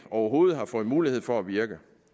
overhovedet har fået mulighed for at virke